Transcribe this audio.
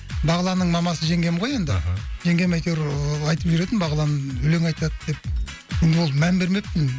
бағланның мамасы жеңгем ғой енді аха жеңгем әйтеуір айтып жүретін бағлан өлең айтады деп енді ол мән бермеппін